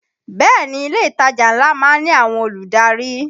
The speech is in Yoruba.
Bẹ́ẹ̀ ni, ilé ìtajà ńlá má ń ní àwọn olùdarí